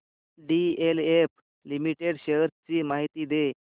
DLF limited shares ची माहिती दे